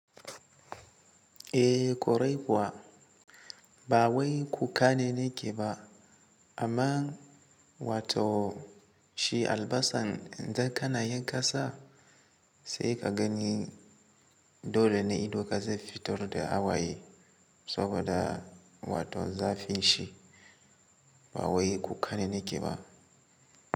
Eh kwarai kuwa ba wai kukka ne ni ke ba, amma wato, shi albasan in dan kana yin kasa sai ka gani dole ne idon ka zai fitar da hawaye. Saboda, wato zafin shi ba wai kukka ne ni ke ba.